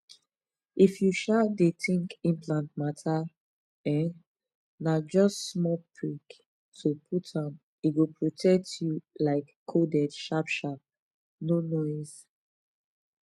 if u um dey think implant mata um na jst small prick to put m e go protect u um coded sharp sharp no noise